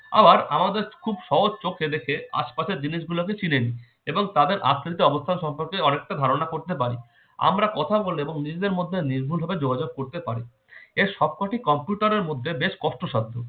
আর আমাদের খুব সহজ চোখে দেখে আশপাশের জিনিস গুলোকে চিনে নেই এবং তাদের আসল অবস্থান সম্পর্কে অনেকটা ধারণা করতে পারি আমরা কথা বলে এবং নিজেদের মধ্যে নির্মূল ভাবে যোগাযোগ করতে পারি এই সব কয়টি কম্পিউটারের মধ্যে বেশ কষ্টসাধ্য